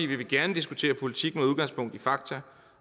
vil vi gerne diskutere politik med udgangspunkt i fakta